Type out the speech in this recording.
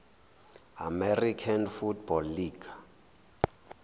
american football league